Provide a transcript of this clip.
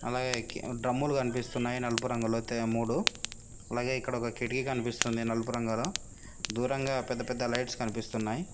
అలాగే డ్రమ్ము లు కనిపిస్తున్నాయి నలుపురంగులో మూడు మరియు ఇక్కడ ఒక కిటికీ కనిపిస్తుంది నలుపు రంగులో దూరంగా పెద్దపెద్ద లైట్స్ కనిపిస్తున్నాయి.